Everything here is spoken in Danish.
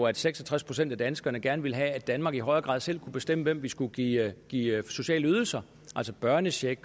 at seks og tres procent af danskerne gerne ville have at danmark i højere grad selv kunne bestemme hvem vi skulle give give sociale ydelser altså børnecheck